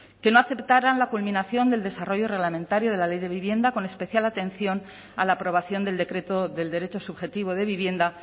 que no aceptaran la culminación del desarrollo reglamentario de la ley de vivienda con especial atención a la aprobación del decreto del derecho subjetivo de vivienda